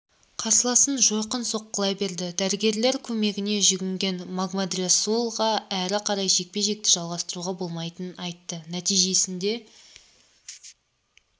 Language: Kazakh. қарсыласын жойқын соққылай берді дәрігерлер көмегіне жүгінген могамедрасулға әрі қарай жекпе-жекті жалғастыруға болмайтынын айтты нәтижесінде